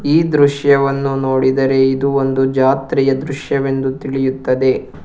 ಈ ದೃಶ್ಯವನ್ನು ನೋಡಿದರೆ ಇದು ಒಂದು ಜಾತ್ರೆಯ ದೃಶ್ಯವೆಂದು ತಿಳಿಯುತ್ತದೆ.